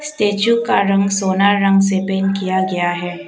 Statue का रंग सोना रंग से पेंट किया गया है।